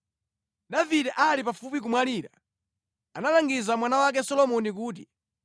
Davide ali pafupi kumwalira, analangiza mwana wake Solomoni kuti: